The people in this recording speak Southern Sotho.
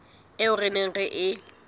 eo re neng re e